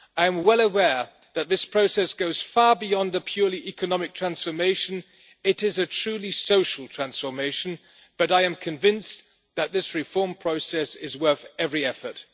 I am well aware that this process goes far beyond the purely economic transformation it is a truly social transformation but I am convinced that this reform process is worth every effort.